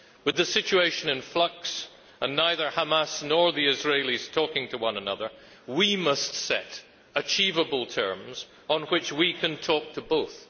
With the situation in flux and neither Hamas nor the Israelis talking to one another, we must set achievable terms on which we can talk to both.